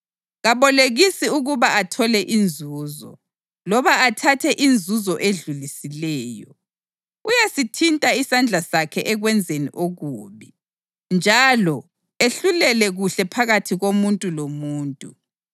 Kabolekisi ukuba athole inzuzo loba athathe inzuzo edlulisileyo. Uyasithinta isandla sakhe ekwenzeni okubi njalo ehlulele kuhle phakathi komuntu lomuntu.